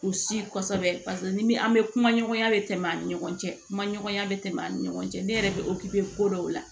U si kosɛbɛ paseke ni an bɛ kuma ɲɔgɔnya bɛ tɛmɛ an ni ɲɔgɔn cɛ kuma ɲɔgɔnya bɛ tɛmɛ ani ɲɔgɔn cɛ ne yɛrɛ bɛ ko dɔw la